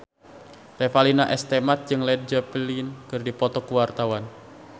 Revalina S. Temat jeung Led Zeppelin keur dipoto ku wartawan